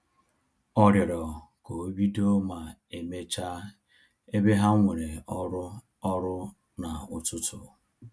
Ọ rịọrọ ka obido ma emecha ebe ha nwere ọrụ ọrụ na-ụtụtụ